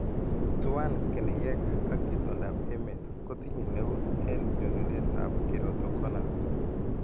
Tuan keneyeek ak itondap emet kotinye neut en nyonunrtab keratoconus.